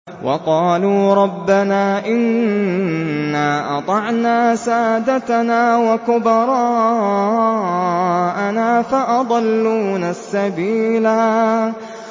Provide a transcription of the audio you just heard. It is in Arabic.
وَقَالُوا رَبَّنَا إِنَّا أَطَعْنَا سَادَتَنَا وَكُبَرَاءَنَا فَأَضَلُّونَا السَّبِيلَا